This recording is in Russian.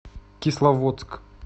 кисловодск